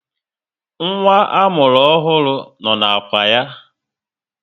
Nwa amụrụ ọhụrụ no na ákwà ya